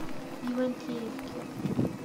ивантеевки